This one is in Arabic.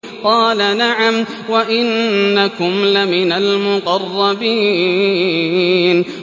قَالَ نَعَمْ وَإِنَّكُمْ لَمِنَ الْمُقَرَّبِينَ